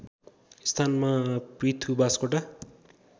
स्थानमा पृथु बास्कोटा